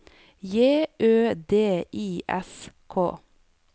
J Ø D I S K